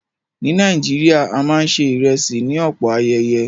Ní Nàìjíríà, a máa ń ṣè ìrẹ̀sì ní ọ̀pọ̀ ayeye.